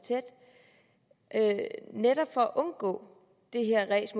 netop for at undgå det her ræs